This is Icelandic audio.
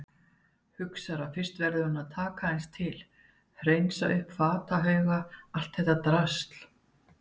Hugsar að fyrst verði hún að taka aðeins til, hreinsa upp fatahauga, allt þetta drasl.